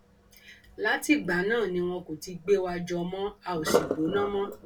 látìgbà náà ni wọn kò ti gbé wa jọ mọ a ò sì gbóná mọ